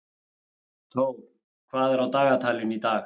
Thór, hvað er á dagatalinu í dag?